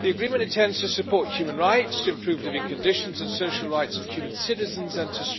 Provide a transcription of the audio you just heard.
The agreement attempts to support human rights, to improve the living conditions and social rights of Cuban citizens, and to strengthen trade between the EU and Cuba.